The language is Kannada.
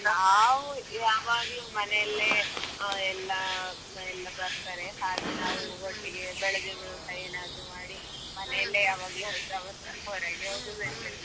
ನಾವ್ ಯಾವಾಗ್ಲೂ ಮನೆಯಲ್ಲೇ ಎಲ್ಲಆ ಎಲ್ಲಾ ಬರ್ತರೆ. ಹಾಗೆ ನಾವ್ ಒಟ್ಟಿಗೆ ಬೆಳದಿಂಗಳ ಊಟ ಏನಾದ್ರು ಮಾಡಿ. ಮನೆ ಅಲ್ಲೇ ಯಾವಾಗ್ಲೂ ಹೊಸ ವರ್ಷ ಹೊರಗೆ ಹೋಗು ಇಲ್ಲ.